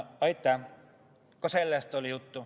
Aitäh!